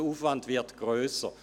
Der Aufwand würde grösser.